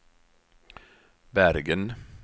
Bergen